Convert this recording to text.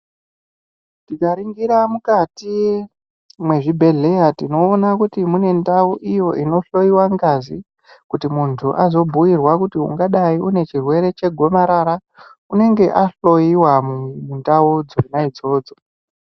Tikaringira mukati mwezvibhehleya tinoona kuti mune ndau iyo tinohloiwa ngazi kuti muntu azobhuirwa kuti ungadai une chirwere chegomarara unenge ahloiwa mundau dzona idzodzo.